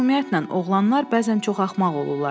Ümumiyyətlə, oğlanlar bəzən çox axmaq olurlar.